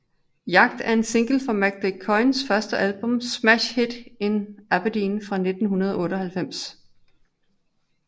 Jagt er en single fra Malk de Koijns første album Smash Hit In Aberdeen fra 1998